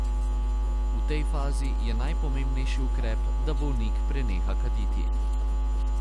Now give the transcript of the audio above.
V tej fazi je najpomembnejši ukrep, da bolnik preneha kaditi.